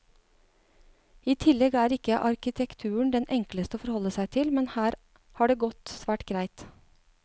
I tillegg er ikke arkitekturen den enkleste å forholde seg til, men her har det gått svært greit.